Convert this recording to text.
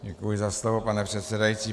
Děkuji za slovo, pane předsedající.